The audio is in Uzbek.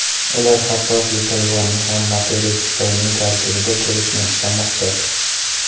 Ular hattoki Tayvanni ham materik Xitoyning tarkibida ko‘rishni istamoqda.